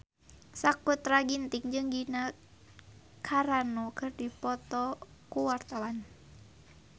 Sakutra Ginting jeung Gina Carano keur dipoto ku wartawan